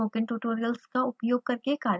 spoken tutorial project team: